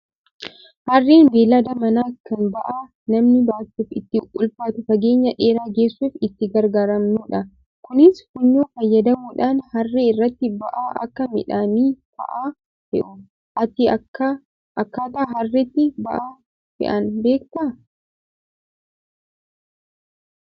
Harreen beeylada manaa kan ba'aa namni baachuuf itti ulfaatu fageenya dheeraa geessuuf itti garagaaramnudha. Kunis funyoo fayyadamuudhaan harree irratti ba'aa akka midhaanii fa'aa fe'u. Ati akkaataa harreetti ba'aa fe'an beektaa?